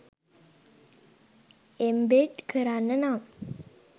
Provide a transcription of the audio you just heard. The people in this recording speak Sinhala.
එම්බෙඩ් කරන්න නම්